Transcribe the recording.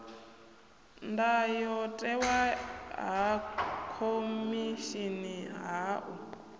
ndayotewa ha khomishini ha u